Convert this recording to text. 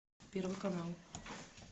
первый канал